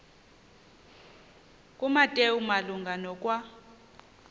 kumateyu malunga nokwa